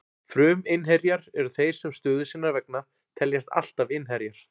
Fruminnherjar eru þeir sem stöðu sinnar vegna teljast alltaf innherjar.